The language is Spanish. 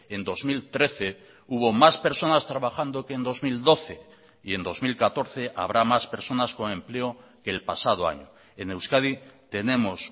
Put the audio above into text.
en dos mil trece hubo más personas trabajando que en dos mil doce y en dos mil catorce habrá más personas con empleo que el pasado año en euskadi tenemos